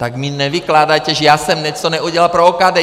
Tak mi nevykládejte, že já jsem něco neudělal pro OKD!